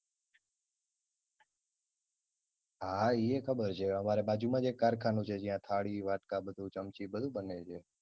હા હા ઇય ખબર છે અમારી બાજુ માંજ એક કારખાનું છે જ્યાં થાળી, વાટકા બધુ ચમચી બધુ બને છે.